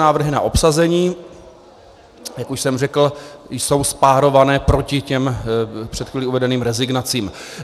Návrhy na obsazení, jak už jsem řekl, jsou spárované proti těm před chvílí uvedeným rezignacím.